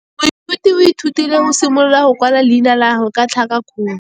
Moithuti o ithutile go simolola go kwala leina la gagwe ka tlhakakgolo.